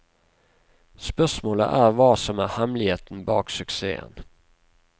Spørsmålet er hva som er hemmeligheten bak suksessen.